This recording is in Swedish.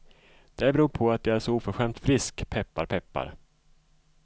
Det beror på att jag är så oförskämt frisk, peppar peppar.